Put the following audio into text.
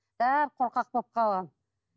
бәрі қорқақ болып қалған